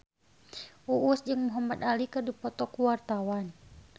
Uus jeung Muhamad Ali keur dipoto ku wartawan